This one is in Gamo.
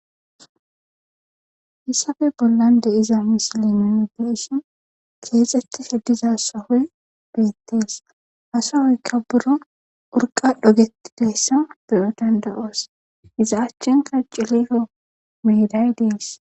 issappe bollan de'iza misilinin beeshin keexetti he diza sahoy bezittees hasahoyka buro urqa dhogettideyssa beyo dandayoos iza achchinka ciliko meiday dees